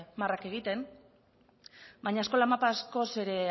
marrak egiten baina eskola mapa askoz ere